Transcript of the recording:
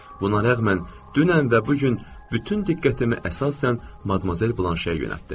Buna rəğmən, dünən və bu gün bütün diqqətimi əsasən Madmazel Blanşəyə yönəltdim.